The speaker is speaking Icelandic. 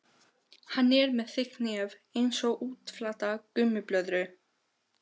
Hann er með þykkt nef einsog útflatta gúmmíblöðru.